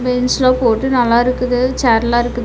பெஞ்ச்லா போட்டு நல்லா இருக்குது சேர்ல்லா இருக்குது.